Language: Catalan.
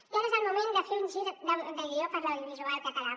i ara és el moment de fer un gir de guió per l’audiovisual català